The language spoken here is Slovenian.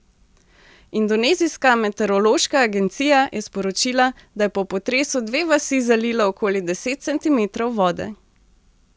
Indonezijska meteorološka agencija je sporočila, da je po potresu dve vasi zalilo okoli deset centimetrov vode.